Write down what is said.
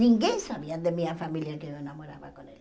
Ninguém sabia da minha família que eu enamorava com ele.